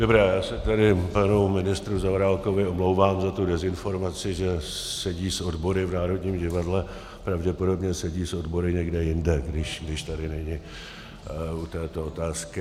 Dobrá, já se tedy panu ministru Zaorálkovi omlouvám za tu dezinformaci, že sedí s odbory v Národním divadle, pravděpodobně sedí s odbory někde jinde, když tady není u této otázky.